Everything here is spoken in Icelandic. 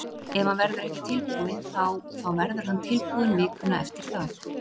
Ef hann verður ekki tilbúinn þá þá verður hann tilbúinn vikuna eftir það.